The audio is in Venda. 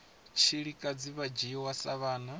tshilikadzi vha dzhiwa sa vhana